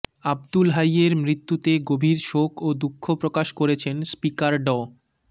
আবদুল হাইয়ের মৃত্যুতে গভীর শোক ও দুঃখ প্রকাশ করেছেন স্পিকার ড